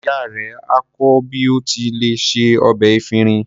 Ìyá rẹ á kọ́ ọ bí o ti lè se ọbẹ̀ efinrin.